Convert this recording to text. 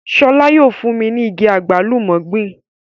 Sọlá yóò fún mi ní igi àgbálùmọ́ gbìn